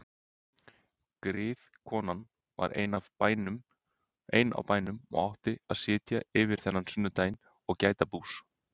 Griðkonan var ein á bænum og átti að sitja yfir þennan sunnudaginn og gæta bús.